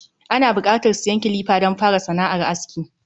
Ana buƙatar siyan kilifa don fara sana’ar aski